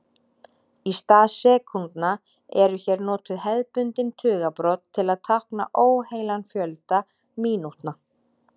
Í stað sekúndna eru hér notuð hefðbundin tugabrot til að tákna óheilan fjölda mínútna.